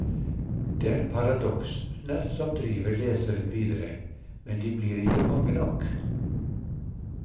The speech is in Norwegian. Det er paradoksene som driver leseren videre, men de blir ikke mange nok.